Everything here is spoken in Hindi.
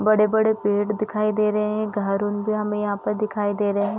बड़े बड़े पेड़ दिखाई दे रहे हैं घर उन भी हमे यहाँ पर दिखाई दे रहे हैं।